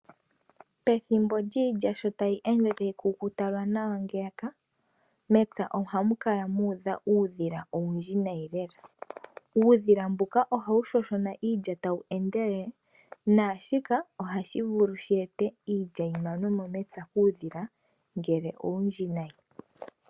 Pethimbo lyiilya sho tayi ende tayi kukuta lwanawa ngeyaka, mepya ohamu kala mwa udha uudhila owundji nayi lela. Uudhila ohawu shoshona iilya tawu endelele, naashika ohashi vulu shi ete iilya yi manwe mo mepya kuudhila ngele owundji nayi.